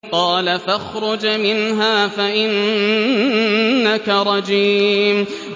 قَالَ فَاخْرُجْ مِنْهَا فَإِنَّكَ رَجِيمٌ